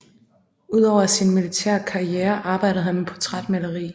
Udover sin militære karriere arbejdede han med portrætmaleri